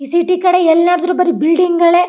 ಈ ಸಿಟಿ ಕಡೆ ಎಲ್ಲ್ ನೋಡಿದ್ರು ಬರಿ ಬಿಲ್ಡಿಂಗ್ ಗಳೆ .